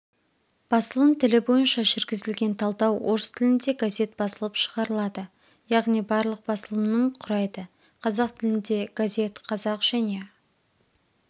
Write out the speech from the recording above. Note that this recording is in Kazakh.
басылым тілі бойынша жүргізілген талдау орыс тілінде газет басылып шығарылады яғни барлық басылымның құрайды қазақ тілінде газет қазақ және